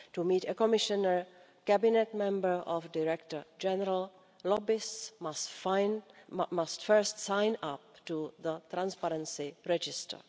To meet a Commissioner, Cabinet Member or Director General, lobbyists must first sign up to the transparency register.